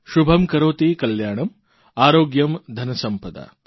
શુભં કરોતિ કલ્યાણં આરોગ્યં ધનસમ્પદા